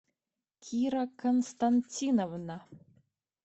кира константиновна